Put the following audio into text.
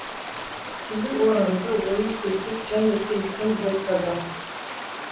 тілі орымды ойы сергек және кен кім болса да